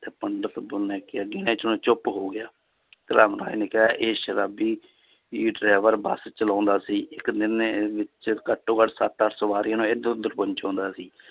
ਤੇ ਪੰਡਿਤ ਚੁੱਪ ਹੋ ਗਿਆ ਧਰਮ ਰਾਜ ਨੇ ਕਿਹਾ ਇਹ ਸ਼ਰਾਬੀ ਹੀ driver ਬਸ ਚਲਾਉਂਦਾ ਸੀ ਇੱਕ ਦਿਨ ਵਿੱਚ ਘੱਟੋ ਘੱਟ ਸੱਤ ਅੱਠ ਸਵਾਰੀਆਂ ਨੂੰ ਇੱਧਰ ਉੱਧਰ ਪਹੁੰਚਾਉਂਦਾ ਸੀ